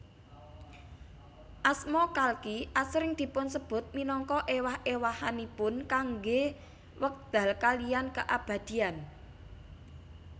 Asma Kalki asring dipunsebut minangka ewah ewahanipun kanggé wekdal kaliyan keabadian